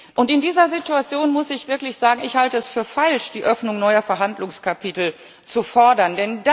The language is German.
Und in dieser Situation muss ich wirklich sagen, ich halte es für falsch, die Öffnung neuer Verhandlungskapitel zu fordern.